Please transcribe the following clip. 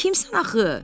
Sən kimsən axı?